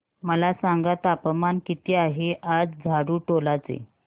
मला सांगा तापमान किती आहे आज झाडुटोला चे